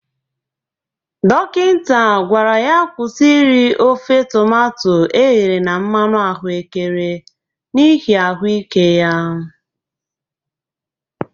Dokinta gwara ya kwusi iri ofe tomato eghere na mmanụ ahụekere n'ihi ahụ ike ya.